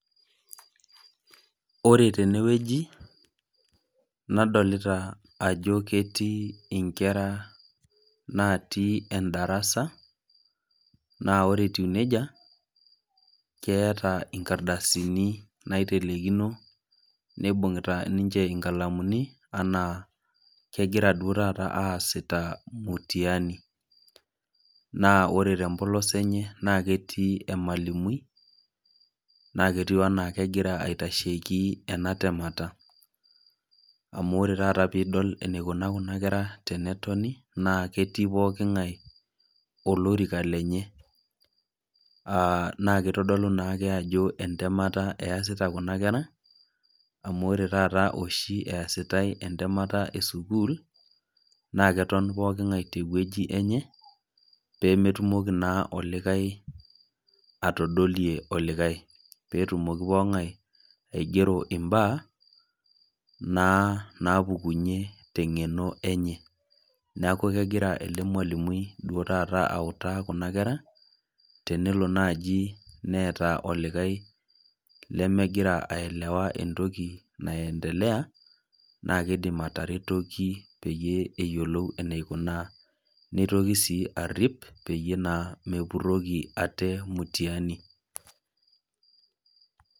Ore tene wueji nadolita ajo ketii inkera naatii endarasa, naa ore etiu neija, keata inkardasini naitelekino neibung'ita ninche inkalamuni anaa kegira duo taata aasita mutiyani. Naa ore te empolos enye naa ketii emwalimui, naa ketiu anaa egira aitasheiki ena temata, amu ore taata pee idol eneikuna kuna kera pee etoni, naa ketii pooking'ai olorika lenye naa keitodolu naake ajo entemata easita kuna kera , amu ore oshi taata easitai entemata e sukuul, naa keton pooking'ai te ewueji enye, pee metumoki naa olikai atadolie olikai, peetumoki pooking'ai aigero imbaa naa naapukunye teng'eno enye, neaku egiraa duo taata ele mualimui autaa kuna kera tenelo naaji neata olikai lemegira aelewa entoki naendelea, naa keidim ataretoki peyie eyiolou eneikunaa, neitoki sii arip peyie mepuroki ate mutiani.